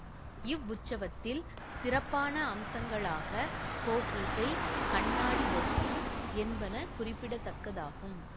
இவ் உற்சவத்தில் சிறப்பான அம்சங்களாக கோபூசை கண்ணாடி தரிசனம் என்பன குறிப்பிடத்தக்கதாகும்